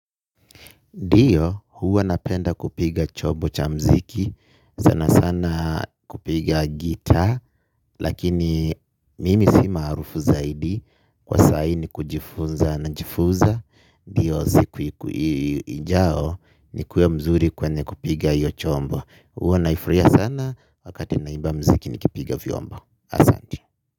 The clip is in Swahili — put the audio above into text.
Ndiyo, huwa napenda kupiga chombo cha muziki, sana sana kupiga gitaa, lakini mimi sima arufu zaidi, kwa sai ni kujifunza na jifunza, ndiyo ziku ijao ni kuwe mzuri kwenye kupiga hiyo chombo. Huwa naifurahia sana, wakati na iba muziki ni kipiga vyombo. Asante.